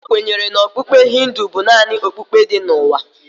John kwenyere na okpukpe Hindu bụ naanị okpukpe dị n'ụwa.